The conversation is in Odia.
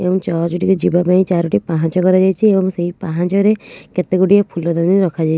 ଏଇ ଜଜ ଟିକୁ ଯିବା ପାଈଁ ଚାରୋଟି ପାହାଚ କରା ଯାଇଛି ଓ ସେ ପାହାଚ ରେ କେତେ ଗୁଡିଏ ଫୁଲ ଦାନି ରଖା ଯାଇଛି।